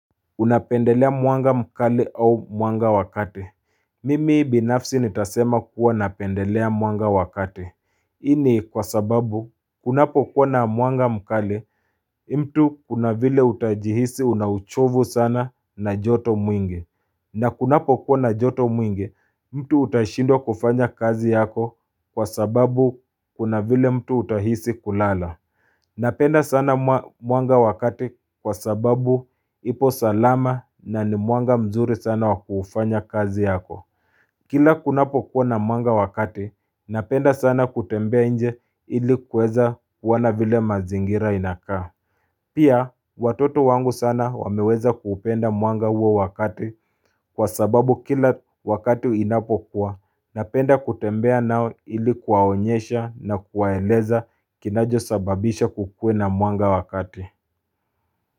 Unapendelea mwanga mkali au mwanga wa kati. Mimi binafsi nitasema kuwa napendelea mwanga wa kati. Hii ni kwa sababu kunapokuwa na mwanga mkali mtu kuna vile utajihisi una uchovu sana na joto mwingi. Na kunapokuwa na joto mwingi mtu utashindwa kufanya kazi yako kwa sababu kuna vile mtu utahisi kulala. Napenda sana mwanga wa kati kwa sababu ipo salama na ni mwanga mzuri sana wakufanya kazi yako. Kila kunapokuwa na mwanga wa kati, napenda sana kutembea nje ilikuweza wana vile mazingira inakaa. Pia, watoto wangu sana wameweza kupenda mwanga huo wa kati kwa sababu kila wakati inapokuwa na penda kutembea nao ilikuwaonyesha na kuwaeleza kinachosababisha kukue na mwanga wa kati.